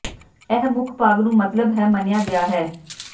ਇਹ ਮੁੱਖ ਭਾਗ ਨੂੰ ਮਤਲਬ ਹੈ ਮੰਨਿਆ ਗਿਆ ਹੈ